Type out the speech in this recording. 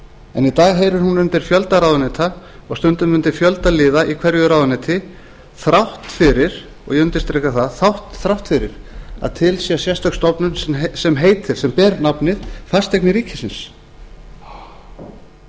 dag heyrir hún undir fjölda ráðuneyta og stundum undir fjölda liða í hverju ráðuneyti þrátt fyrir og ég undirstrika það að til sé sérstök stofnun sem ber nafnið fasteignir ríkisins húsnæðismálunum